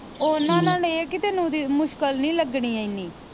ਓਹਨਾ ਨਾਲ ਇਹ ਆ ਕੇ ਤੈਨੂੰ ਮੁਸ਼ਕਿਲ ਨੀ ਲਗਣੀ ਇੰਨੀ